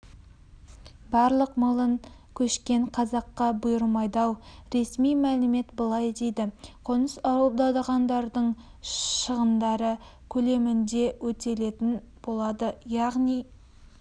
бірақ млн көшкен қазаққа бұйырмайды-ау ресми мәлімет былай дейді қоныс аударғандардың шығындары көлемінде өтелетін болады яғни